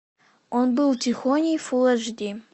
он был тихоней фулл аш ди